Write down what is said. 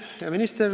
Hea minister!